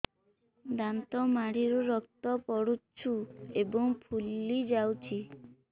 ଦାନ୍ତ ମାଢ଼ିରୁ ରକ୍ତ ପଡୁଛୁ ଏବଂ ଫୁଲି ଯାଇଛି